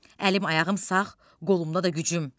Əlim ayağım sağ, qolumda da gücüm.